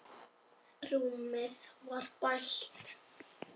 Rúmið var bælt.